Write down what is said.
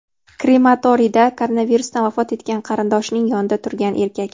Krematoriyda koronavirusdan vafot etgan qarindoshining yonida turgan erkak.